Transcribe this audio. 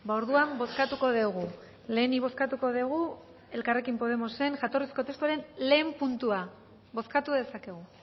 orduan bozkatuko dugu lehenik bozkatuko dugu elkarrekin podemosen jatorrizko testuaren lehen puntua bozkatu dezakegu